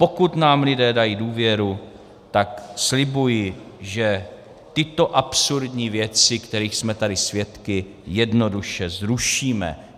Pokud nám lidé dají důvěru, tak slibuji, že tyto absurdní věci, kterých jsme tady svědky, jednoduše zrušíme.